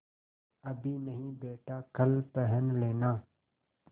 अभी नहीं बेटा कल पहन लेना